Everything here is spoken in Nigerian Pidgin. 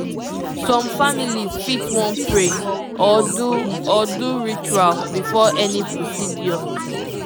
some families fit wan pray or do or do ritual before any procedure